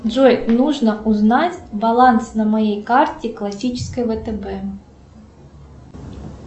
джой нужно узнать баланс на моей карте классической втб